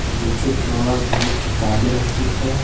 और नीचे ड्रावर में किताबें रखी है।